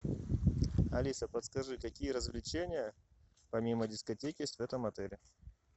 алиса подскажи какие развлечения помимо дискотеки есть в этом отеле